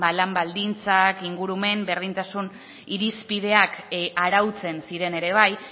lan baldintzak ingurumen berdintasuna irizpideak arautzen ziren ere bai